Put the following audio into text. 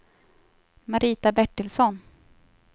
Marita Bertilsson